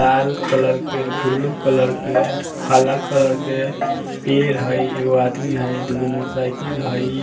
लाल colour के बुलु colour के काला कलर के पेड़ है एगो आदमी हई दुगो मोटरसाइकिल हई --